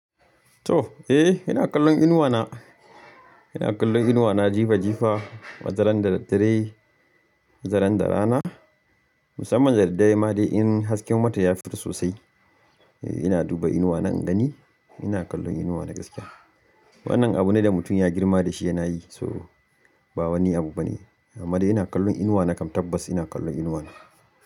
To! Eh, ina kallon inuwa na. Ina kallon inuwa na jifa jifa, wataran da dadare, wataran da rana. Musamman da daddare ma dai in hasken wata ya fito sosai, eh ina duba inuwa na ingani. Ina kallon inuwa na gaskiya. Wannan abu ne da mutum ya girma da shi yana yi, so ba wani abu bane. Amma dai ina kallon inuwa na kam tabbas ina kallon inuwa na.